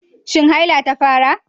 Shin haila ta fara?